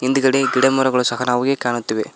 ಹಿಂದ್ಗಡೆ ಗಿಡಮರಗಳು ಸಹ ನಮ್ಗೆ ಕಾಣುತ್ತಿವೆ.